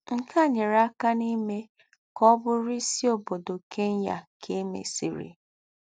Nké à nyéré àká n’ímè ká ọ̀ bùrù ísí óbódò Kenya ká è mèsírì